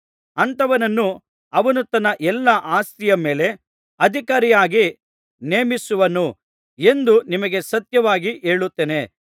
ಅಂಥವನನ್ನು ಅವನು ತನ್ನ ಎಲ್ಲಾ ಆಸ್ತಿಯ ಮೇಲೆ ಅಧಿಕಾರಿಯಾಗಿ ನೇಮಿಸುವನು ಎಂದು ನಿಮಗೆ ಸತ್ಯವಾಗಿ ಹೇಳುತ್ತೇನೆ